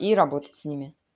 и работать с ними